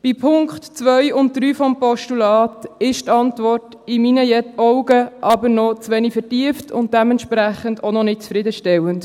Bei den Punkten 2 und 3 des Postulats ist die Antwort in meinen Augen aber noch zu wenig vertieft und dementsprechend auch noch nicht zufriedenstellend.